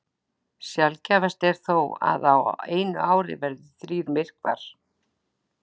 Sjaldgæfast er þó að á einu ári verði þrír myrkvar.